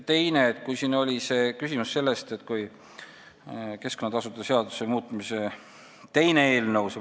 Teiseks, siin oli küsimus keskkonnatasude seaduse muutmise teise eelnõu kohta.